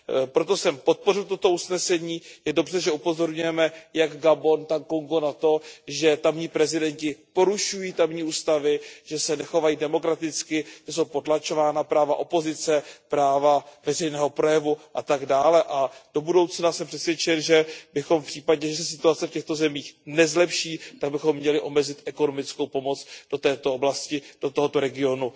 Proto jsem podpořil toto usnesení, je dobře, že upozorňujeme jak Gabon, tak Kongo na to, že tamní prezidenti porušují tamní ústavy, že se nechovají demokraticky, že jsou potlačována práva opozice, práva veřejného projevu atd. A do budoucna jsem přesvědčen, že bychom v případě, že se situace v těchto zemích nezlepší, měli omezit ekonomickou pomoc do této oblasti, do tohoto regionu